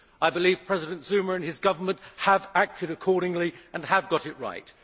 I believe President Zuma and his Government have acted accordingly and have got it right.